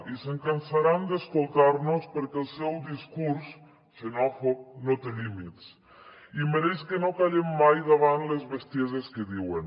i se’n cansaran d’escoltar nos perquè el seu discurs xenòfob no té límits i mereix que no callem mai davant les bestieses que diuen